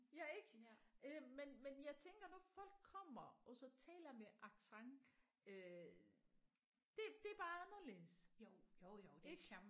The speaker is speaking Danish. Ja ik øh men men jeg tænker når folk kommer og så taler med accent øh det det er bare anderledes ik